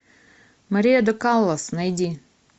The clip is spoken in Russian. мария до каллас найди